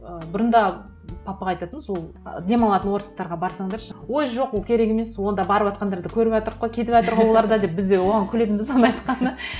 ы бұрында папаға айтатынбыз ол ы демалатын отдыхтарға барсаңдаршы ой жоқ ол керек емес онда барыватқандарды көріватырық ғой кетіватыр ғой олар да деп біз де оған күлетінбіз соны айтқанда